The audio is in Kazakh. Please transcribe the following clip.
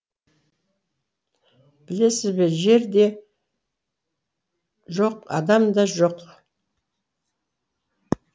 білесіз бе жер де жоқ адам да жоқ